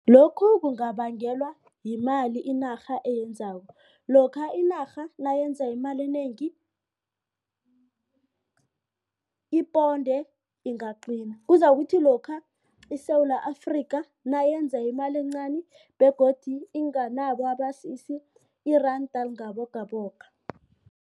Lokhu kungabangelwa yimali inarha eyenzako. Lokha inarha nayenza imali enengi iponde ingaqina kuzakuthi lokha iSewula Afrika nayenza imali encani begodu inganabo abasisi iranda lingabogogo.